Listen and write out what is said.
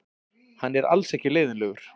Hann er alls ekki leiðinlegur.